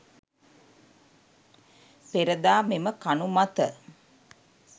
පෙර දා මෙම කණු මත